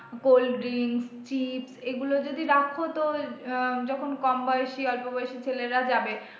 cold drinks chips এগুলো যদি রাখ তো আহ যখন কম বয়সী অল্প বয়সী ছেলেরা যাবে,